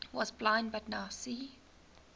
was blind but now see